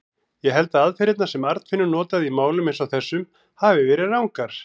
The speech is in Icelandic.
Ég held að aðferðirnar, sem Arnfinnur notaði í málum eins og þessum, hafi verið rangar.